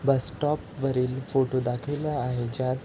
बस stop वरील photo दाखविला आहे ज्यात --